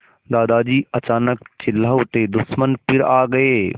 दादाजी अचानक चिल्ला उठे दुश्मन फिर आ गए